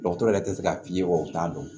Dɔgɔtɔrɔ yɛrɛ tɛ se ka f'i ye o t'a dɔn